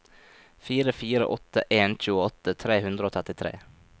fire fire åtte en tjueåtte tre hundre og trettitre